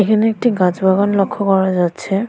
এখানে একটি গাছ বাগান লক্ষ্য করা যাচ্ছে।